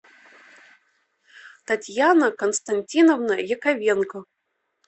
татьяна константиновна яковенко